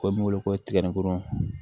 Ko min wele ko tigakurun